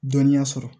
Dɔnniya sɔrɔ